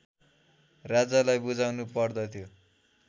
राजालाई बुझाउनु पर्दथ्यो